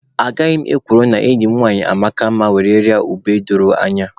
Agaghị m ekworo na enyi m nwanyị amaka mma were rịa ube edoro iyi.